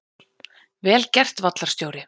Vel gert vallarstjóri!